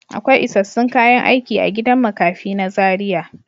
Akwai isassun kayan aiki a gidan makafi na Zaria.